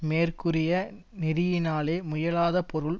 மேற்கூறிய நெறியினாலே முயலாத பொருள்